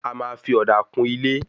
A máa fí òdà kún ilé